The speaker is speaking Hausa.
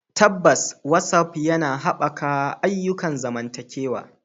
Tabbas, WhatsApp yana haɓaka ayyukan zamantakewa.